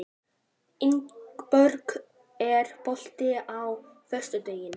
Ingberg, er bolti á föstudaginn?